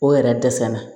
O yɛrɛ dɛsɛ la